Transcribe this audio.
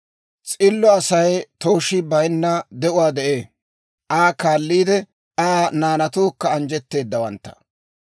S'illo Asay tooshii bayinna de'uwaa de'ee; Aa kaalliide, Aa naanatuukka anjjetteedawantta.